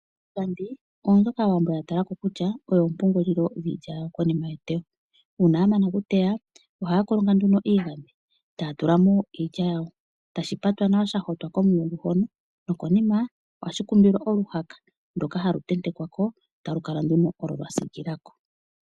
Iigandhi oyo mbyoka Aawambo ya tala ko kutya oyo oompungulilo dhiilya yawo konima yeteyo. Uuna ya mana okuteya oha ya kolonga nduno iigandhi ta ya tula mo iilya yawo. Tashi patwa nawa sha hotwa komulungu hono nokonima ohashi kumbilwa oluhaka ndoka ha lu tentekwa ko, ta lu kala nduno olo lwa siikila ko.